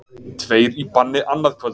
Tveir í banni annað kvöld